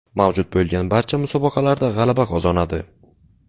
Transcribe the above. Mavjud bo‘lgan barcha musobaqalarda g‘alaba qozonadi.